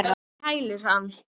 Fyrr mátti nú vera!